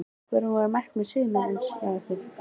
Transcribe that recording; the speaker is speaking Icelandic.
Hver voru markmið sumarsins hjá ykkur?